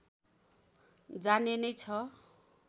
जाने नै छ